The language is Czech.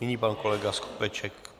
Nyní pan kolega Skopeček.